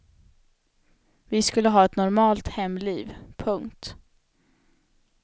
Vi skulle ha ett normalt hemliv. punkt